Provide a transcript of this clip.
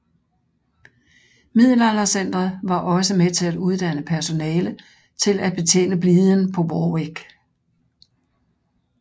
Middelaldercentret var også med til at uddanne personale til at betjene bliden på Warwick